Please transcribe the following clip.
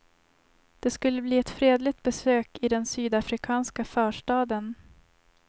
Det skulle bli ett fredligt besök i den sydafrikanska förstaden.